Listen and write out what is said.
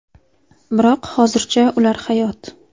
Biroq hozircha ular hayot.